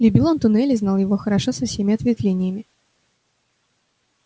любил он туннель и знал его хорошо со всеми ответвлениями